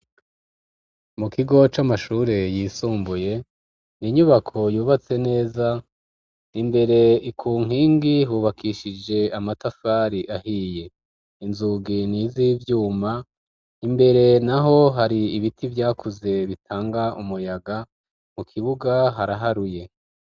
Mu kigo c'amashure yisumbuye ninyubako yubatse neza imbere ikunkingi hubakishije amatafari ahiye inzugi niza ivyuma imbere na ho hari ibiti vyakuze bitanga umuyaga mu kibuga haraharuye.